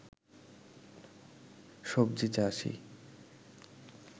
সবজি চাষী